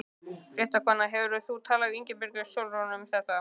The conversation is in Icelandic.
Fréttakona: Hefur þú talað við Ingibjörgu Sólrúnu um þetta?